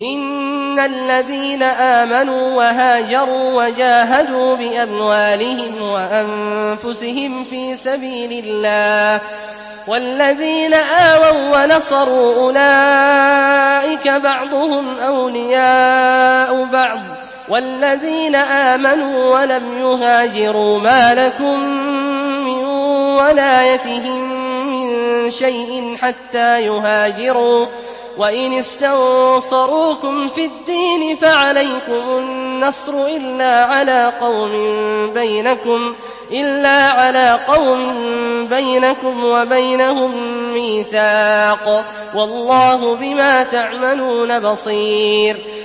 إِنَّ الَّذِينَ آمَنُوا وَهَاجَرُوا وَجَاهَدُوا بِأَمْوَالِهِمْ وَأَنفُسِهِمْ فِي سَبِيلِ اللَّهِ وَالَّذِينَ آوَوا وَّنَصَرُوا أُولَٰئِكَ بَعْضُهُمْ أَوْلِيَاءُ بَعْضٍ ۚ وَالَّذِينَ آمَنُوا وَلَمْ يُهَاجِرُوا مَا لَكُم مِّن وَلَايَتِهِم مِّن شَيْءٍ حَتَّىٰ يُهَاجِرُوا ۚ وَإِنِ اسْتَنصَرُوكُمْ فِي الدِّينِ فَعَلَيْكُمُ النَّصْرُ إِلَّا عَلَىٰ قَوْمٍ بَيْنَكُمْ وَبَيْنَهُم مِّيثَاقٌ ۗ وَاللَّهُ بِمَا تَعْمَلُونَ بَصِيرٌ